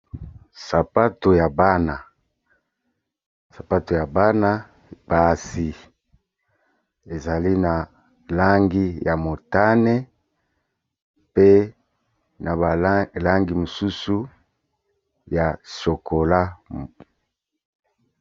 Sapato ya bana. Sapato ya bana basi ezali na langi ya motane, pe na ba langi mosusu ya chocolat.